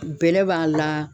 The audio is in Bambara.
Bɛlɛ b'a la